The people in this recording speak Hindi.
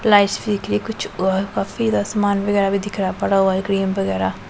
कुछ काफी ज्यादा सामान वगैरा भी दिख रहा है पड़ा हुआ है क्रीम वगैरा।